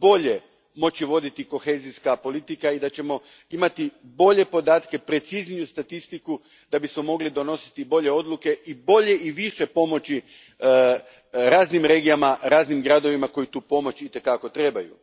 bolje moći voditi kohezijska politika i da ćemo imati bolje podatke, precizniju statistiku da bismo mogli donositi bolje odluke i bolje i više pomoći raznim regijama, raznim gradovima koji tu pomoć i te kako trebaju.